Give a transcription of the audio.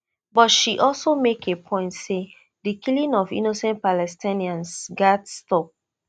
but she also make a point say di killing of innocent palestinians gatz stop